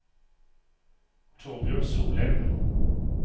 Thorbjørn Solem